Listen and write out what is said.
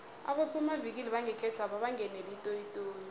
abosomavikili bangekhethwapha bangenele itoyitoyi